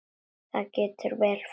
Það getur vel farið svo.